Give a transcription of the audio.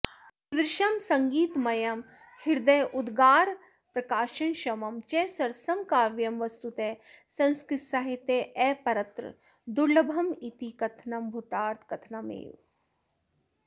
ईदृशं सङ्गीतमयं हृदयोद्गारप्रकाशनक्षमं च सरसं काव्यं वस्तुतः संस्कृतसाहित्येऽपरत्र दुर्लभमिति कथनं भूतार्थकथनमेव